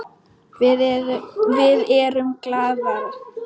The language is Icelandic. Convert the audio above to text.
Við erum glaðar.